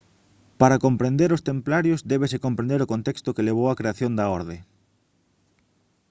para comprender os templarios débese comprender o contexto que levou á creación da orde